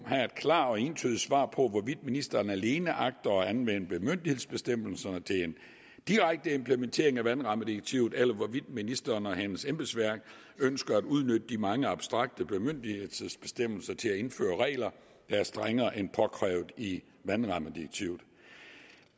have et klart og entydigt svar på hvorvidt ministeren alene agter at anvende bemyndigelsesbestemmelserne til en direkte implementering af vandrammedirektivet eller hvorvidt ministeren og hendes embedsværk ønsker at udnytte de mange abstrakte bemyndigelsesbestemmelser til at indføre regler der er strengere end påkrævet i vandrammedirektivet